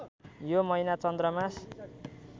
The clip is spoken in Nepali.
यो महिना चन्द्रमास